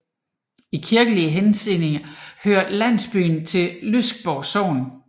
I kirkelig henseende hører landsbyen til Lyksborg Sogn